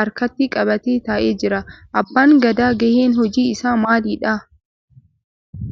harkatti qabatee ta'ee jira. Abbaan Gadaa gaheen hojii isaa maalidha?